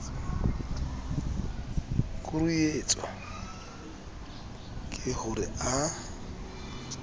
kuruetswa ke ho re a